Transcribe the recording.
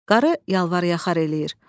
Qarı yalvaryaxar eləyir.